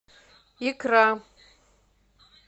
икра